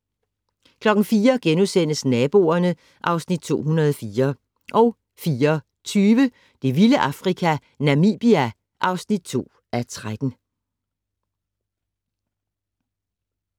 04:00: Naboerne (Afs. 204)* 04:20: Det vilde Afrika - Namibia (2:13)